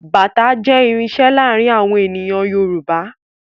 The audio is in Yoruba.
Bàtá jẹ́ irinṣẹ́ láàárín àwọn ènìyàn Yorùbá